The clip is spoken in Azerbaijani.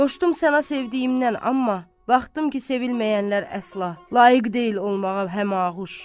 Qoşdum sənə sevdiyimdən, amma, baxdım ki, sevilməyənlər əsla, layiq deyil olmağa həmaquş.